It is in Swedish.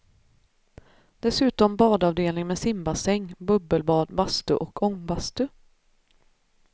Dessutom badavdelning med simbassäng, bubbelbad, bastu och ångbastu.